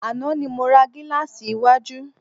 Àná ni mo ra gílàsì iwájú.